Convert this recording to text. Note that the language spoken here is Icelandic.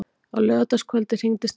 Á laugardagskvöldið hringdi Steindór.